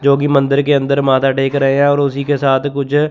जो कि मंदिर के अंदर माथा टेक रहे हैं और उसी के साथ कुछ--